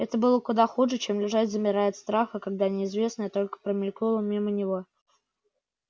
это было куда хуже чем лежать замирая от страха когда неизвестное только промелькнуло мимо него